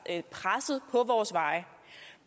presset fra vores veje